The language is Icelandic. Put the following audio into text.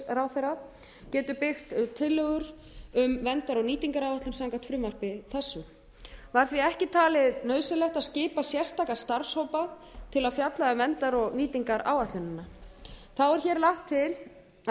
umhverfisráðherra getur byggt tillögur um verndar og nýtingaráætlun samkvæmt frumvarpi þessu var því ekki talið nauðsynlegt að skipa sérstaka starfshópa til að fjalla um verndar og nýtingaráætlunina þá er hér lagt til að